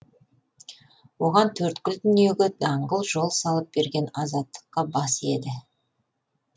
олар төрткүл дүниеге даңғыл жол салып берген азаттыққа бас иеді